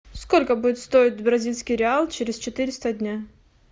сколько будет стоить бразильский реал через четыреста дня